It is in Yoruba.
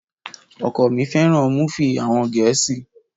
Ọkọ mi fẹ́ràn múfì àwọn gẹ̀ẹ́sì